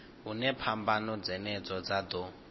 hune phambano dzenedzo dza ḓo